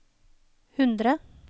hundre